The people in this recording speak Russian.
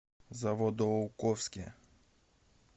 заводоуковске